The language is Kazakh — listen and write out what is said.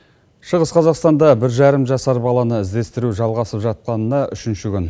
шығыс қазақстанда бір жарым жасар баланы іздестіру жалғасып жатқанына үшінші күн